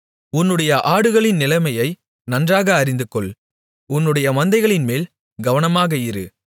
உன்னுடைய ஆடுகளின் நிலைமையை நன்றாக அறிந்துகொள் உன்னுடைய மந்தைகளின்மேல் கவனமாக இரு